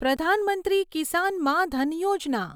પ્રધાન મંત્રી કિસાન માં ધન યોજના